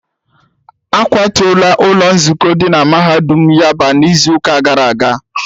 A kwatuola ụlọ nzukọ dị na mahadum yaba n'izuụka gara aga